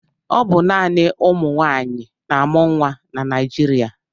Ọ bụ naanị ụmụnwaanyị na-amụ nwa na Naịjịrịa.